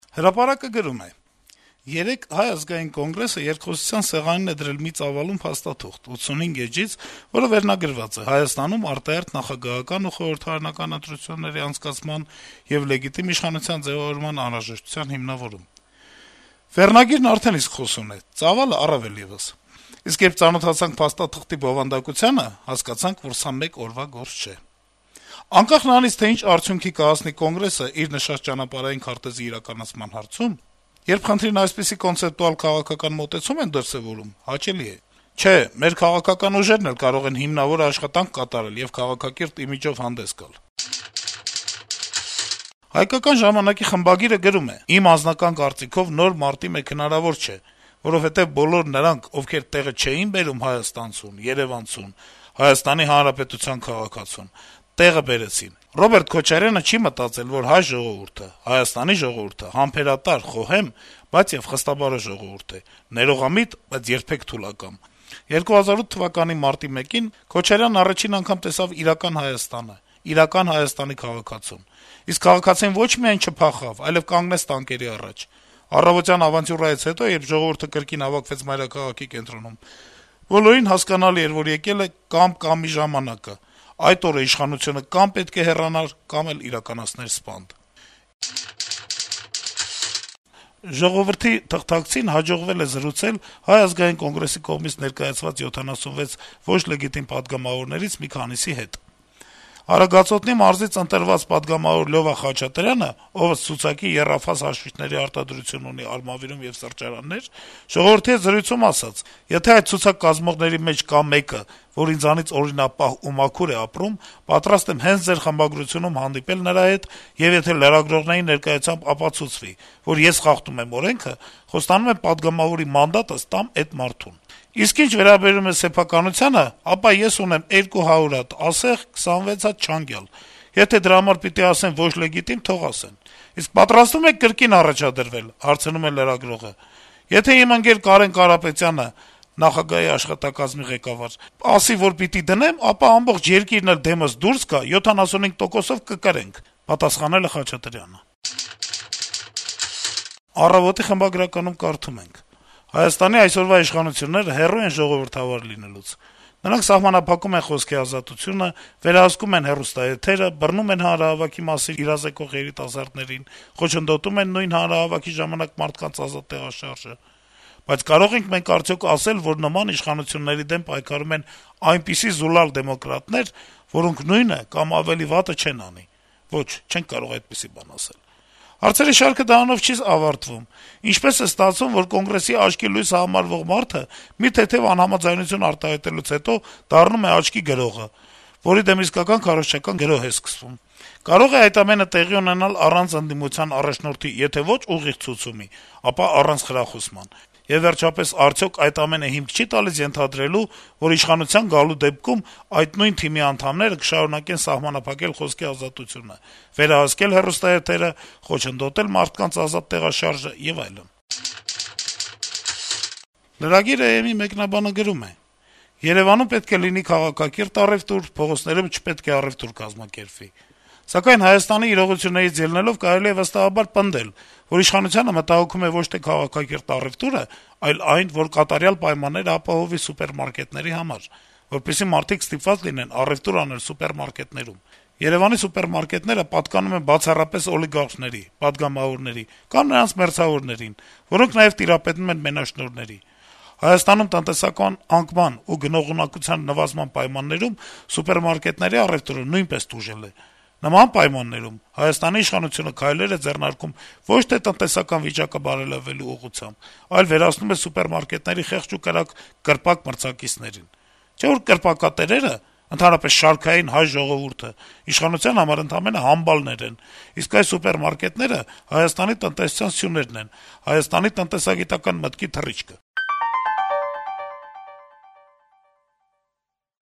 «Հրապարակ»-ը գրում է. -« Երեկ Հայ ազգային կոնգրեսը երկխոսության սեղանին է դրել մի ծավալուն փաստաթուղթ՝ 85 էջից, որը վերնագրված է՝ «Հայաստանում արտահերթ նախագահական ու խորհրդարանական ընտրությունների անցկացման եւ լեգիտիմ իշխանության ձեւավորման անհրաժեշտության հիմնավորում»: Վերնագիրն արդեն իսկ խոսուն է, ծավալը՝ առավել եւս: Իսկ երբ ծանոթացանք փաստաթղթի բովանդակությանը, հասկացանք, որ սա մեկ օրվա գործ չէ: Անկախ նրանից, թե ինչ արդյունքի կհասնի Կոնգրեսն իր նշած «ճանապարհային քարտեզի» իրականացման հարցում, երբ խնդրին այսպիսի կոնցեպտուալ քաղաքական մոտեցում են դրսեւորում, հաճելի է: Չէ՝ մեր քաղաքական ուժերն էլ կարող են հիմնավոր աշխատանք կատարել եւ քաղաքակիրթ իմիջով հանդես գալ»: «Հայկական ժամանակ»-ի խմբագիրը գրում է. - «Իմ անձնական կարծիքով, նոր մարտի 1 հնարավոր չէ, որովհետեւ բոլոր նրանք, ովքեր տեղը չէին բերում հայաստանցուն, երեւանցուն, ՀՀ քաղաքացուն` տեղը բերեցին: Ռոբերտ Քոչարյանը չի մտածել, որ հայ ժողովուրդը, Հայաստանի ժողովուրդը համբերատար, խոհեմ, բայց եւ խստաբարո ժողովուրդ է, ներողամիտ, բայց երբեք թուլակամ: 2008 թվականի մարտի 1-ին Քոչարյանն առաջին անգամ տեսավ իրական Հայաստանը, իրական Հայաստանի քաղաքացուն: Իսկ քաղաքացին ոչ միայն չփախավ, այլեւ կանգնեց տանկերի առաջ: Առավոտյան ավանտյուրայից հետո, երբ ժողովուրդը կրկին հավաքվեց մայրաքաղաքի կենտրոնում, բոլորին հասկանալի էր, որ եկել է կամ-կամ-ի ժամանակը: Այդ օրը իշխանությունը կամ պետք է հեռանար, կամ էլ իրականացներ սպանդ»: «Ժողովուրդ» օրաթերթի թղթակցին հաջողվել է զրուցել Հայ ազգային կոնգրեսի կողմից ներկայացված 76 ոչ լեգիտիմ պատգամավորներից մի քանիսի հետ: Արագածոտնի մարզից ընտրված պատգամավոր Լյովա Խաչատրյանը, ով, ըստ ցուցակի, եռաֆազ հաշվիչների արտադրություն ունի Արմավիրում եւ սրճարաններ, թերթի հետ զրույցում ասել է. - «Եթե այդ ցուցակ կազմողների մեջ կա մեկը, որ ինձանից օրինապահ ու մաքուր է ապրում, պատրաստ եմ հենց ձեր խմբագրությունում հանդիպել նրա հետ, եւ եթե լրագրողների ներկայությամբ ապացուցվի, որ ես խախտում եմ օրենքը, խոստանում եմ պատգամավորի մանդատս տամ էդ մարդուն: Իսկ ինչ վերաբերում է սեփականությանը, ապա ես ունեմ 200 հատ ասեղ, 26 հատ «չանգյալ»: Եթե դրա համար պիտի ասեն ոչ լեգիտիմ, թող ասեն»: Լրագրողը հարցնում է. - «Իսկ պատրաստվում եք կրկին առաջադրվե՞լ»: Պատասխան. - «Եթե իմ ընկեր Կարեն Կարապետյանն ասի (նկատի ունի նախագահի աշխատակազմի ղեկավարին), որ պիտի դնեմ, ապա աբողջ երկիրն էլ դեմս որ դուրս գա, 75 տոկոսով կկրենք»: «Առավոտ»-ի խմբագրականում կարդում ենք. - «Հայաստանի այսօրվա իշխանությունները հեռու են ժողովրդավար լինելուց. նրանք սահմանափակում են խոսքի ազատությունը, վերահսկում են հեռուստաեթերը, բռնում են հանրահավաքների մասին իրազեկող երիտասարդներին, խոչընդոտում են նույն հանրահավաքների ժամանակ մարդկանց ազատ տեղաշարժը: Բայց կարո՞ղ ենք մենք արդյոք ասել, որ նման իշխանությունների դեմ պայքարում են այնպիսի զուլալ դեմոկրատներ, որոնք նույնը կամ ավելի վատը չեն անի: Ոչ, չենք կարող այդպիսի բան ասել: Հարցերի շարքը դրանով չի ավարտվում: Ինչպե՞ս է ստացվում, որ Կոնգրեսի աչքի լույսը համարվող մարդը մի թեթեւ անհամաձայնություն արտահայտելուց հետո դառնում է աչքի գրողը, որի դեմ իսկական քարոզչական գրոհ է սկսվում: Կարո՞ղ է այդ ամենը տեղի ունենալ առանց ընդդիմության առաջնորդի եթե ոչ ուղիղ ցուցումի, ապա` առանց խրախուսման: Եվ վերջապես, արդյոք այդ ամենը հիմք չի՞ տալիս ենթադրելու, որ իշխանության գալու դեպքում այդ նույն թիմի անդամները կշարունակեն սահմանափակել խոսքի ազատությունը, վերահսկել հեռուստաեթերը, խոչընդոտել մարդկանց ազատ տեղաշարժը եւ այլն»: Lragir.am-ի մեկնաբանը գրում է. - «Երեւանում պետք է լինի քաղաքակիրթ առեւտուր, փողոցներում չպետք է առեւտուր կազմակերպվի: Սակայն, Հայաստանի իրողություններից ելնելով, կարելի է վստահաբար պնդել, որ իշխանությանը մտահոգում է ոչ թե քաղաքակիրթ առեւտուրը, այլ այն, որ կատարյալ պայմաններ ապահովի սուպերմարկետների համար, որպեսզի մարդիկ ստիպված լինեն առեւտուր անել սուպերմարկետներում:Երեւանի սուպերմարկետները պատկանում են բացառապես օլիգարխների, պատգամավորների, կամ նրանց մերձավորներին, որոնք նաեւ տիրապետում են մենաշնորհների: Հայաստանում տնտեսական անկման ու գնողունակության նվազման պայմաններում սուպերմարկետների առեւտուրը նույնպես տուժել է: Նման պայմաններում, Հայաստանի իշխանությունը քայլեր է ձեռնարկում ոչ թե տնտեսական վիճակը բարելավելու ուղղությամբ, այլ վերացնում է սուպերմարկետների խեղճ ու կրակ կրպակ-մրցակիցներին: Չէ որ կրպակատերերը, ընդհանրապես շարքային հայ ժողովուրդը իշխանության համար ընդամենը համբալներ են, իսկ այ սուպերմարկետատերերը Հայաստանի տնտեսության սյուներն են, հայկական տնտեսագիտական մտքի թռիչքը»: